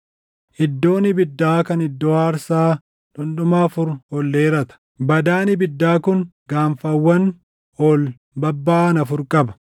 Iddoon ibiddaa kan iddoo aarsaa dhundhuma afur ol dheerata; badaan ibiddaa kun gaanfawwan ol babbaʼan afur qaba.